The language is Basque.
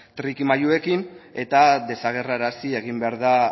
trikimailuekin eta desagerrarazi egin behar da